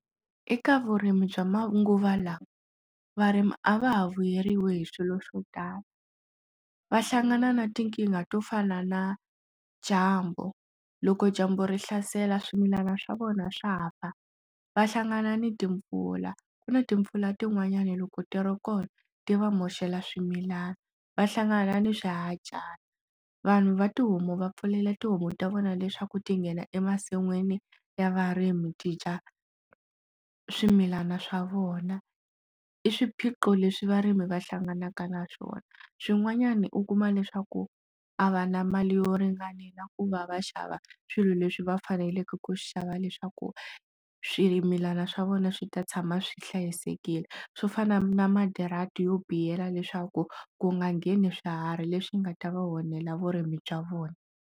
Eka vurimi bya manguva lawa varimi a va ha vuyeriwi hi swilo swo tala va hlangana na tinkingha to fana na dyambu loko dyambu ri hlasela swimilana swa vona swa fa va hlangana ni timpfula ku na timpfula tin'wanyani loko ti ro kona ti va moxela swimilana va hlangana ni swi hajhana vanhu va tihomu va pfulela tihomu ta vona leswaku ti nghena emasin'wini ya varimi ti dya swimilana swa vona i swiphiqo leswi varimi va hlanganaka na swona swin'wanyana u kuma leswaku a va na mali yo ringanela ku va va xava swilo leswi va faneleke ku xava leswaku swimilana swa vona swi ta tshama swi hlayisekile swo fana na madirati yo biha leswaku ku nga ngeni swiharhi leswi nga ta va onhela vurimi bya vona.